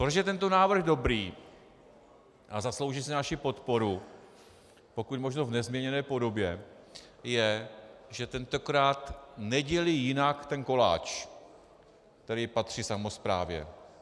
Proč je tento návrh dobrý a zaslouží si naši podporu pokud možno v nezměněné podobě, je, že tentokrát nedělí jinak ten koláč, který patří samosprávě.